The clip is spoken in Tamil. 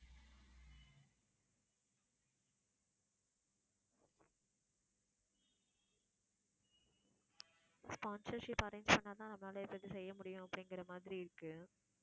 sponsorship arrange பண்ணா தான் நம்மளால எதாவது செய்ய முடியும் அப்படிங்குற மாதிரி இருக்கு.